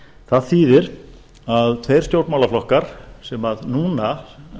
það þýðir að þeir stjórnmálaflokkar sem núna